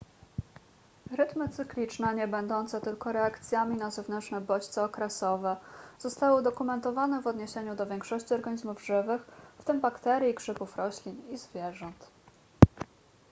rytmy cykliczne niebędące tylko reakcjami na zewnętrzne bodźce okresowe zostały udokumentowane w odniesieniu do większości organizmów żywych w tym bakterii grzybów roślin i zwierząt